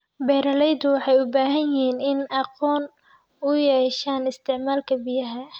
Beeralayda waxay u baahan yihiin inay aqoon u yeeshaan isticmaalka biyaha.